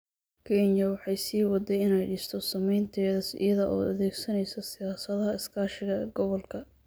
Kenya waxay sii waday inay dhisto saamaynteeda iyada oo adeegsanaysa siyaasadaha iskaashiga gobolka.